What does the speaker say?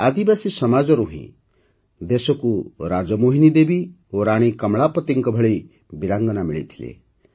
ଆଦିବାସୀ ସମାଜରୁ ହିଁ ଦେଶକୁ ରାଜମୋହିନୀ ଦେବୀ ଓ ରାଣୀ କମଳାପତିଙ୍କ ଭଳି ବୀରାଙ୍ଗନା ମିଳିଥିଲା